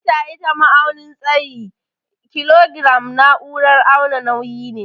Mita ita ma'aunin tsayi, kilogram naúrar auna nauyi ne.